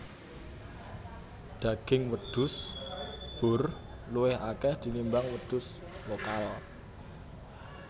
Daging wedhus boer luwih akeh tinimbang wedhus lokal